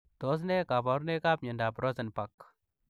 Tos ne kabarunoik ak miondoop Rosenbak ?